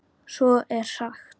Svo er sagt.